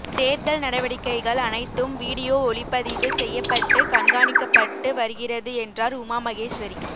தோ்தல் நடவடிக்கைகள் அனைத்தும் விடியோ ஒளிப்பதிவு செய்யப்பட்டு கண்காணிக்கப்பட்டு வருகிறது என்றாா் உமாமகேஸ்வரி